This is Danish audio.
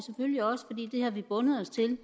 vi har vi bundet os til